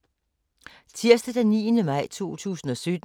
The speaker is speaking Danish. Tirsdag d. 9. maj 2017